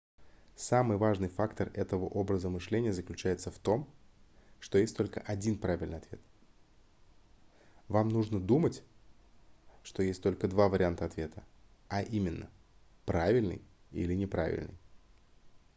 самый важный фактор этого образа мышления заключается в том что есть только один правильный ответ вам нужно думать что есть только два варианта ответа а именно правильный или неправильный